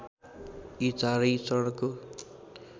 यी चारै चरणको